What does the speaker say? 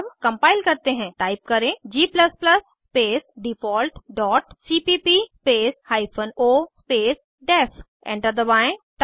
अब कम्पाइल करते हैं टाइप करें g space default dot cpp space hyphen o space def enter दबाएं